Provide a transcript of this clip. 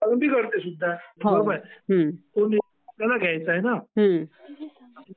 अगदी घडते सुद्धा. बरोबर. निर्णय आपल्याला घ्यायचा आहे ना.